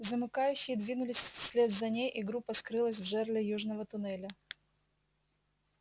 замыкающие двинулись вслед за ней и группа скрылась в жерле южного туннеля